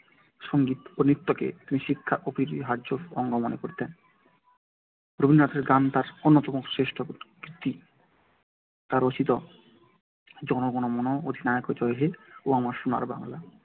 সংগীত ও নৃত্যকে তিনি শিক্ষার অপরিহার্য অঙ্গ মনে করতেন। রবীন্দ্রনাথের গান তার অন্যতম শ্রেষ্ঠ কীর্তি। তার রচিত জনগণমন-অধিনায়ক জয় হে ও আমার সোনার বাংলা